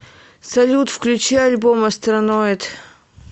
салют включи альбом астроноид